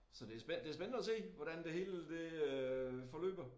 Så det det spændende at se hvordan det hele det øh forløber